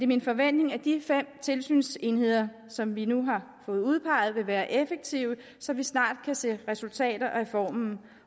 min forventning at de fem tilsynsenheder som vi nu har fået udpeget vil være effektive så vi snart kan se resultater af reformen